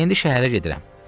İndi şəhərə gedirəm.